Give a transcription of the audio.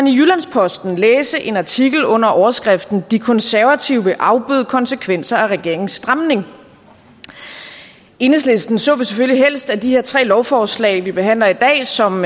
posten læse en artikel under overskriften de konservative vil afbøde konsekvenser af regeringens stramning i enhedslisten så vi selvfølgelig helst at de her tre lovforslag vi behandler i dag som